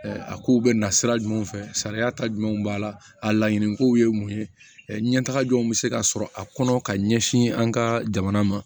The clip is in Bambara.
A kow bɛ na sira jumɛnw fɛ sariya ta jumɛn b'a la a laɲini kow ye mun ye ɲɛtaga jɔnw bɛ se ka sɔrɔ a kɔnɔ ka ɲɛsin an ka jamana ma